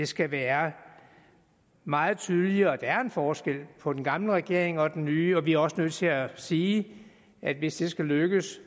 skal være meget tydeligere at der er en forskel på den gamle regering og den nye vi er også nødt til at sige at hvis det skal lykkes